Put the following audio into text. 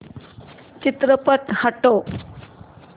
चित्रपट हटव